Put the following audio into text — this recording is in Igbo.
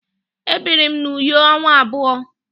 Ebiri m na Uyo ọnwa abụọ.